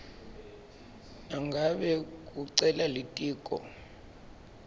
nangabe kucela litiko